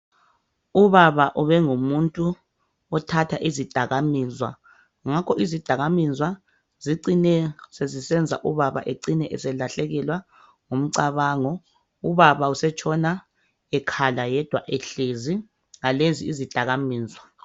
Ubaba ubengumuntu othatha izidakamizwa, ngakho izidakamizwa zicine sezisenza ubaba ecine eselahlekelwa ngumcabango. Ubaba usetshona ekhala yedwa ehlezi ngalezi izidakamizwa.